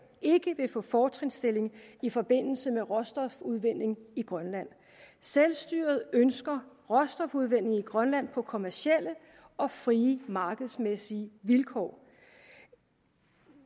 ikke vil få fortrinsstilling i forbindelse med råstofudvinding i grønland selvstyret ønsker råstofudvinding i grønland på kommercielle og frie markedsmæssige vilkår